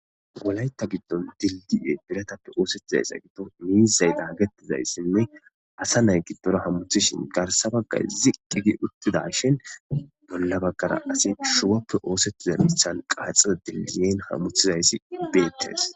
wolaytta giddon dildi7e biratappe oosettizayssa giddo miizay daagetizayssinne asa nay giddora hamuthishin garsabagay ziqqigi uttida shin bolla baggara asi shuwappe oosettizermithan qaaxizo diiziyen hamuthizayssi beettes